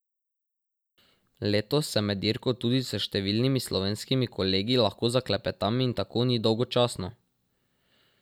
Letos se med dirko tudi s številnimi slovenskimi kolegi lahko zaklepetam in tako ni dolgočasno.